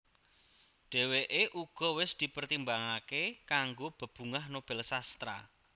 Dhèwèké uga wis dipertimbangaké kanggo Bebungah Nobel Sastra